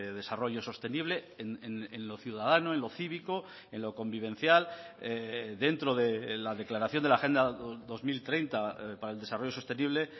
desarrollo sostenible en lo ciudadano en lo cívico en lo convivencial dentro de la declaración de la agenda dos mil treinta para el desarrollo sostenible